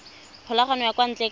kgokagano ya kwa ntle ka